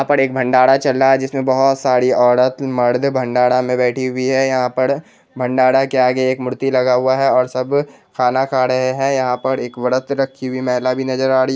यहाँ पर एक भंडारा चल रहा है जिसमें बहोत सारी औरत मर्द भंडारा में बैठी हुई है|यहाँ पर भंडारा के आगे एक मूर्ति लगा हुआ है और सब खाना खा रहे हैं| यहाँ पर एक व्रत रखी हुई महिला भी नजर आ रही --